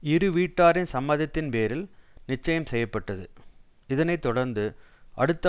இருவீட்டாரின் சம்மதத்தின் பேரில் நிச்சயம் செய்ய பட்டது இதனை தொடர்ந்து அடுத்த